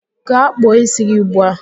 Gaa kpụọ ísí gị ugbu a!